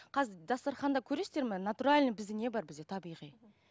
қазір дастарханда көресіздер ме натуральный бізде не бар бізде табиғи мхм